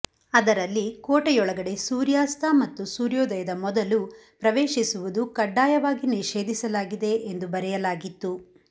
ಅದರಲ್ಲಿ ಕೋಟೆಯೊಳಗಡೆ ಸೂರ್ಯಾಸ್ತ ಮತ್ತು ಸೂರ್ಯೋದಯದ ಮೊದಲು ಪವೇಶಿಸುವುದು ಕಡ್ಡಾಯವಾಗಿ ನಿಷೇಧಿಸಲಾಗಿದೆ ಎಂದು ಬರೆಯಲಾಗಿತ್ತು